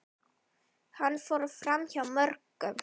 Hann fór framhjá mörgum.